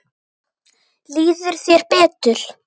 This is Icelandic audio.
Líður þér betur?